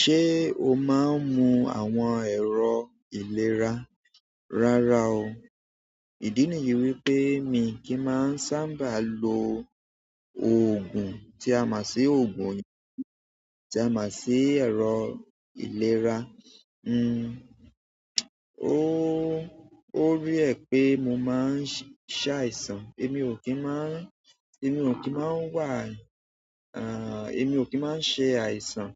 Ṣé o máa ń mu àwọn ẹ̀rọ ìlera? Rárá o. Ìdí niyí wípé mi kì í máa ń sábà lo òògùn tí a máa ń ṣe òògùn òyìnbó tí a máa ń ṣe ẹ̀rọ ìlera. N o, o rare pé mo máa ń ṣa àìsàn. Èmi ò kí ń máa ń, èmi ò kí máa ń wà, à, èmi ò kí máa ń ṣe àìsàn.